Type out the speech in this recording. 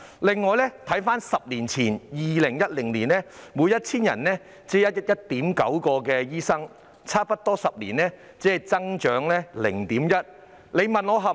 回顧10年前的數字是每 1,000 人只有 1.9 名醫生，差不多10年後只增加了 0.1 名。